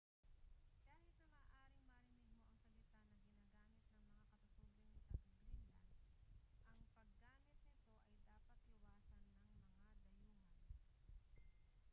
kahit na maaaring marinig mo ang salita na ginagamit ng mga katutubong taga-greenland ang paggamit nito ay dapat iwasan ng mga dayuhan